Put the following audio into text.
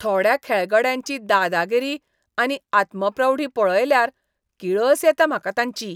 थोड्या खेळगड्यांची दादागिरी आनी आत्मप्रौढी पळयल्यार किळस येता म्हाका तांची.